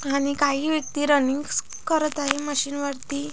आणि काही व्यक्ती रनिंग्स स करत आहे मशीन स वरती.